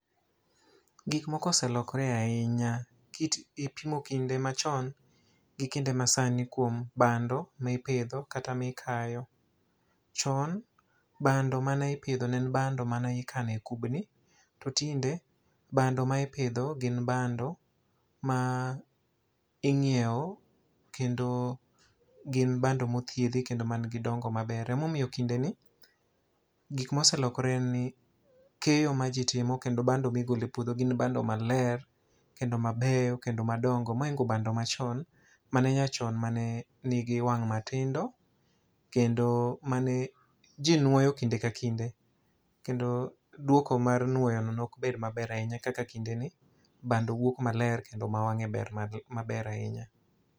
Gik moko oselokore ahinya. Kit kipimo kinde machon gi kinde masani kuom bando ma ipidho kata ma ikayo. Chon bando mane ipidho ne en bando ma ne ikano e kubni. To tinde bando ma ipidho gin bando ma inyiewo kendo gin bando mothiedhi kendo ma nigi dongo maber. Ema omiyo kinde ni gik ma oselokore en ni keyo ma ji timo kendo bando ma igolo e puodho gin bando maler, kendo mabeyo, kendo madongo mohingo bando machon, mane nyachon mane nigi wang' matindo, kendo mane ji nwoyo kinde ka kinde. Kendo dwoko mar nwoyo no ne ok bed maber ahinya kaka kinde ni bando wuok maler kendo ma wangé ber maber ahinya.